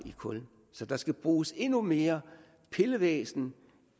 i kul så der skal bruges endnu mere pillevæsen